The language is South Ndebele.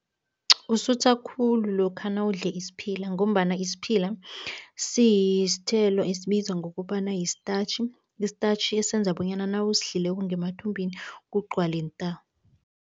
Usutha khulu lokha nawudle isiphila ngombana isiphila siyithelo esibizwa ngokobana yi-starch, i-starch esenza bonyana nawusidlileko, ngemathumbini kugcwale nta.